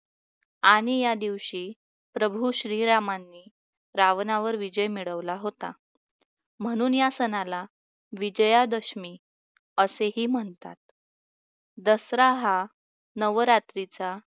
आणि या दिवशी प्रभू श्रीरामांनी रावणावर विजय मिळवला होता म्हणून या सणाला विजयादशमी असेही म्हणतात. दसरा हा नवरात्रीचा